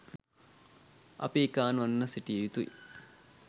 අපි එකාවන්ව සිටිය යුතුයි.